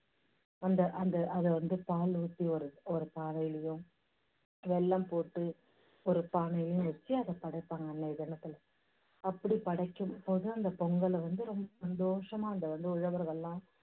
அந்த அந்த அதை வந்து பால் ஊத்தி ஒரு ஒரு பானையிலையும் வெல்லம் போட்டு ஒரு பானையிலையும் வெச்சு அதை படைப்பாங்க அன்னைய தினத்துல. அப்படி படைக்கும் போது அந்தப் பொங்கலை வந்து ரொம்ப சந்தோஷமா அங்க உள்ள உழவர்களெல்லாம்